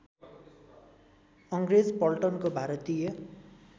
अङ्ग्रेज पल्टनको भारतीय